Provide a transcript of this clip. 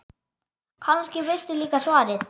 Kannski veistu líka svarið.